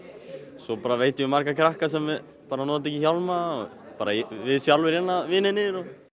svo veit ég um marga krakka sem nota ekki hjálma bara við sjálfir vinirnir